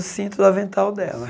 no cinto do avental dela.